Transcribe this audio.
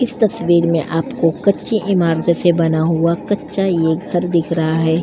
इस तस्वीर में आपको कच्ची इमारतो से बना हुआ कच्चा ये घर दिख रहा है।